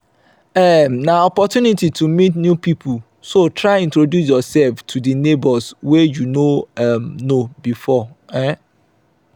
um na opportunity to meet new pipo so try introduce yourself to di neighbors wey you no um know before um